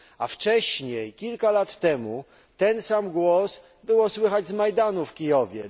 Wcześniej, kilka lat temu, ten sam głos było słychać z Majdanu w Kijowie.